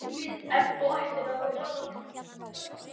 Gunnar: Ef þú ættir að veðja?